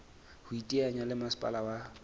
ho iteanya le masepala wa